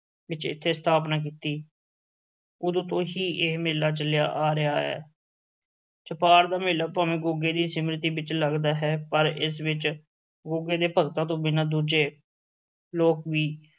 ਵਿੱਚ ਇੱਥੇ ਸਥਾਪਨਾ ਕੀਤੀ ਉਦੋਂ ਤੋਂ ਹੀ ਇਹ ਮੇਲਾ ਚੱਲਿਆ ਆ ਰਿਹਾ ਹੈ ਛਪਾਰ ਦਾ ਮੇਲਾ ਭਾਵੇਂ ਗੁੱਗੇ ਦੀ ਸਿਮਰਤੀ ਵਿੱਚ ਲੱਗਦਾ ਹੈ, ਪਰ ਇਸ ਵਿੱਚ ਗੁੱਗੇ ਦੇ ਭਗਤਾਂ ਤੋਂ ਬਿਨਾਂ ਦੂਜੇ ਲੋਕ ਵੀ